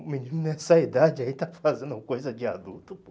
O menino nessa idade aí está fazendo coisa de adulto, pô.